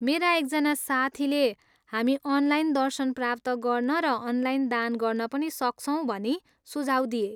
मेरा एकजना साथीले हामी अनलाइन दर्शन प्राप्त गर्न र अनलाइन दान गर्न पनि सक्छौँ भनी सुझाउ दिए।